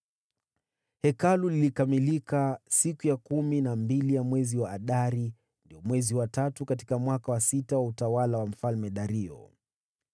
Hekalu lilikamilika siku ya kumi na mbili ya mwezi wa Adari, ndio mwezi wa tatu, katika mwaka wa sita wa utawala wa Mfalme Dario.